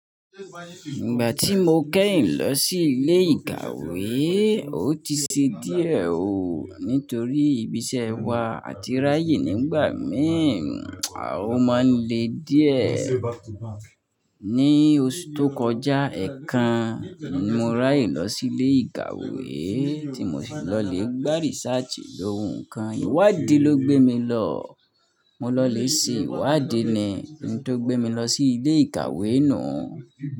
Ìgbà tí mo kẹ́yìn lọ sí ilé ìkàwé, ó ti ṣe díẹ̀ ó, nítorí ibi iṣẹ́ wa àti ráyè nígbà mìí, a ó máa ń le díẹ̀. Ní oṣù tó kọjá ẹ̀kan ni mo ráyè lọ sí ilé ìkàwé tí mo sì lọ lè gba research lóun kan. Ìwádìí ló gbé mi lọ. Mo lọ lè si Ìwádìí ni in tó gbé mi lọ sí ilé ìkàwé nuu.